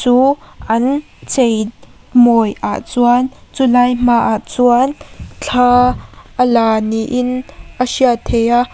an chei mawi ah chuan chulai hma ah chuan thla a la niin a hriat theih a.